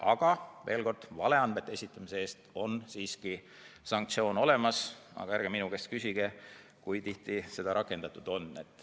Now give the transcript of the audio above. Aga veel kord: valeandmete esitamise eest on sanktsioon olemas, aga ärge minu käest küsige, kui tihti seda rakendatud on.